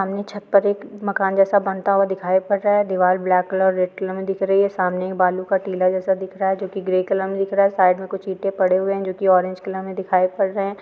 सामने छत पर एक मकान जैसा बंता हुआ दिखी पड़ रहा है दीवार ब्लैक कलर रेड कलर मे दिख रही है सामने बालू का टीला जैसा दिख रहा है जूके ग्रे कलर मे दिख रहा है और साइड मे कुछ ईटे पड़ी हुई है जूके ऑरेंज कलर मे दिखाई पड़ रहे है।